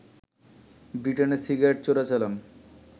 ব্রিটেনে সিগারেটের চোরাচালান